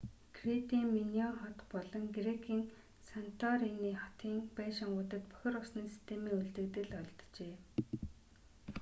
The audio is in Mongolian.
кретийн миноан хот болон грекийн санторини хотын байшингуудад бохир усны системийн үлдэгдэл олджээ